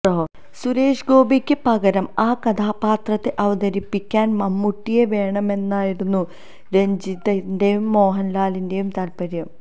സുരേഷ് ഗോപിക്ക് പകരം ആ കഥാപാത്രത്തെ അവതരിപ്പിക്കാന് മമ്മൂട്ടിയെ വേണമെന്നായിരുന്നു രഞ്ജിത്തിന്റേയും മോഹന്ലാലിന്റേയും താല്പര്യം